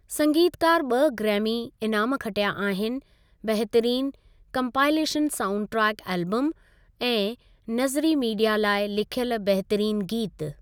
संगीतकार ॿ ग्रैमी इनामु खटिया आहिनि। बहितरीन कम्पाइलेशन साउंडट्रैक एल्बम ऐं नज़िरी मीडिया लाइ लिखियल बहितरीन गीत।